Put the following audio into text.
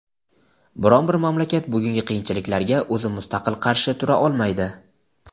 biron bir mamlakat bugungi qiyinchiliklarga o‘zi mustaqil qarshi tura olmaydi.